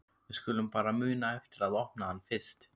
Við skulum bara muna eftir að opna hann fyrst!